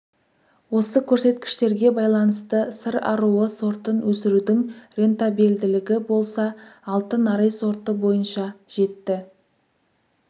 осы көрсеткіштерге байланысты сыр аруы сортын өсірудің рентабелділігі болса алтын арай сорты бойынша жетті